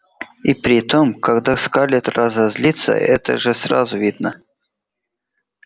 и притом когда скарлетт разозлится это же сразу видно